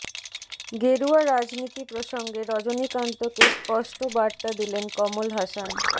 গেরুয়া রাজনীতি প্রসঙ্গে রজনীকান্তকে স্পষ্ট বার্তা দিলেন কমল হাসান